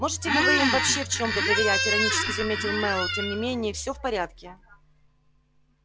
можете ли вы им вообще в чём-то доверять иронически заметил мэллоу тем не менее всё в порядке